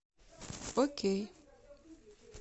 окей